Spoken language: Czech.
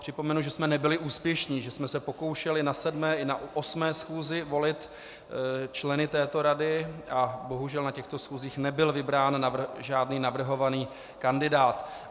Připomenu, že jsme nebyli úspěšní, že jsme se pokoušeli na 7. i na 8. schůzi volit členy této rady a bohužel na těchto schůzích nebyl vybrán žádný navrhovaný kandidát.